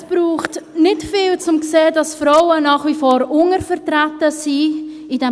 Es braucht nicht viel, um zu sehen, dass Frauen in diesem Parlament nach wie vor untervertreten sind.